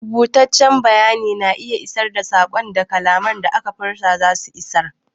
Rubutaccen bayani na iya isar da saƙon da kalaman da aka furta zasu isar.